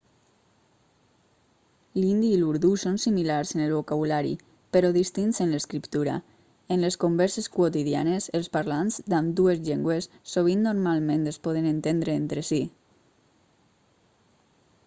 l'hindi i l'urdú són similars en el vocabulari però distints en l'escriptura en les converses quotidianes els parlants d'ambdues llengües sovint normalment es poden entendre entre si